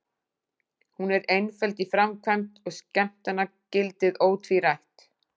Hún er einföld í framkvæmd og skemmtanagildið ótvírætt.